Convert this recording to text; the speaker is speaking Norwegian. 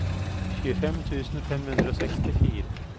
tjuefem tusen fem hundre og sekstifire